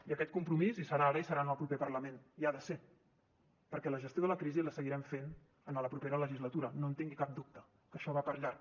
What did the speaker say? i aquest compromís hi serà ara i hi serà en el proper parlament hi ha de ser perquè la gestió de la crisi la seguirem fent en la propera legislatura no en tingui cap dubte que això va per llarg